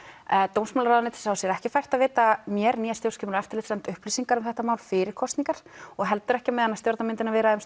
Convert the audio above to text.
dómsmálaráðuneyti sá sér ekki fært að veita mér né stjórnskipunar og eftirlitsnefnd upplýsingar um þetta mál fyrir kosningar og heldur ekki á meðan stjórnarmyndunarviðræðum